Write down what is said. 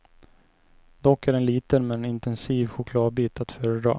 Dock är en liten men intensiv chokladbit att föredra.